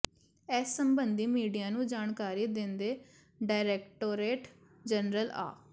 ਇਸ ਸਬੰਧੀ ਮੀਡੀਆ ਨੂੰ ਜਾਣਕਾਰੀ ਦਿੰਦੇ ਡਾਇਰੈਕਟੋਰੇਟ ਜਨਰਲ ਆ